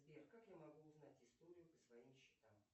сбер как я могу узнать историю по своим счетам